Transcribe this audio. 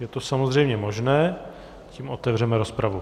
Je to samozřejmě možné, tím otevřeme rozpravu.